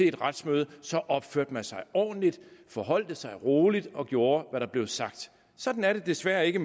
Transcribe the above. et retsmøde så opførte man sig ordentligt forholdt sig roligt og gjorde hvad der blev sagt sådan er det desværre ikke